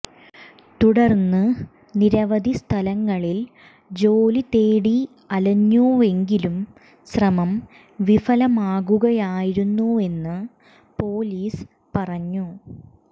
തുടർന്ന് നിരവധി സ്ഥലങ്ങളിൽ ജോലി തേടി അലഞ്ഞുവെങ്കിലും ശ്രമം വിഫലമാകുകയായിരുന്നുവെന്ന് പൊലീസ് പറഞ്ഞു